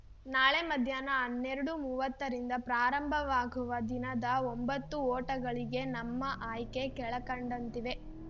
ನಾಳೆ ಮಧ್ಯಾಹ್ನ ಹನ್ನೆರಡು ಮೂವತ್ತರಿಂದ ಪ್ರಾರಂಭವಾಗುವ ದಿನದ ಒಂಬತ್ತು ಓಟಗಳಿಗೆ ನಮ್ಮ ಆಯ್ಕೆ ಕೆಳಕಂಡಂತಿವೆ